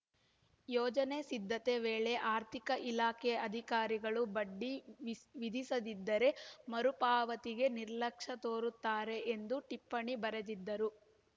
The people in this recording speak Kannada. ಯೋಜನೆ ಸಿದ್ಧತೆ ವೇಳೆ ಆರ್ಥಿಕ ಇಲಾಖೆ ಅಧಿಕಾರಿಗಳು ಬಡ್ಡಿ ವಿಸ್ ವಿಧಿಸದಿದ್ದರೆ ಮರುಪಾವತಿಗೆ ನಿರ್ಲಕ್ಷ್ಯ ತೋರುತ್ತಾರೆ ಎಂದು ಟಿಪ್ಪಣಿ ಬರೆದಿದ್ದರು